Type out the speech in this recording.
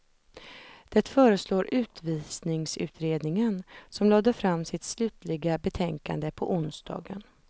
Det föreslår utvisningsutredningen, som lade fram sitt slutliga betänkande på onsdagen.